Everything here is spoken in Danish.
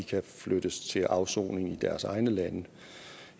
kan flyttes til afsoning i deres egne lande